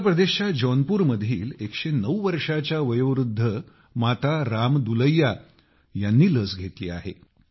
उत्तर प्रदेशच्या जौनपुरमधील 109 वर्षांच्या वयोवृद्ध माता राम दुलैया ह्यांनी लस घेतली आहे